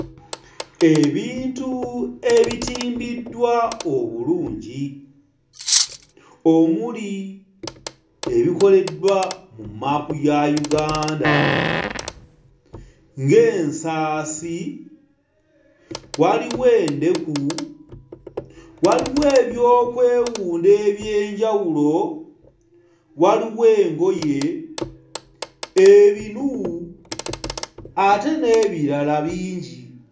Ebintu ebitimbiddwa obulungi omuli ebikoleddwa mu mmaapu ya Uganda ng'ensaasi, waliwo endeku, waliwo eby'okwewunda eby'enjawulo, waliwo engoye ebinu ate n'ebirala bingi.